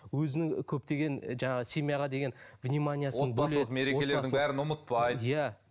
өзінің көптеген ы жаңағы семьяға деген вниманиясын отбасылық мерекелердің бәрін ұмытпайды иә